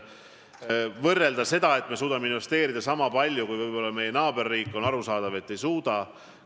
Kui võrrelda seda, kas me suudame investeerida niisama palju kui võib-olla meie naaberriik, siis on arusaadav, et ei suuda.